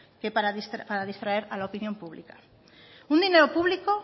para distraer a la opinión pública un dinero público